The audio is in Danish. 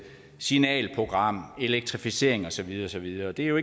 signalprogram elektrificering og så videre og så videre det er jo